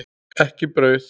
Ekki brauð.